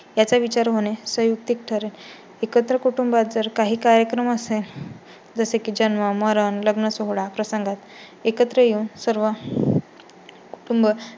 याचा विचार होणे संयुक्तिक ठरेल. एकत्र कुटुंबात जर काही कार्यक्रम असते जसे की जन्म, मरन, लग्नसोहळा प्रसंगात एकत्र येऊन सर्व